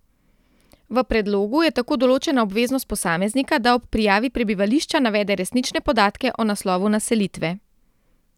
V predlogu je tako določena obveznost posameznika, da ob prijavi prebivališča navede resnične podatke o naslovu naselitve.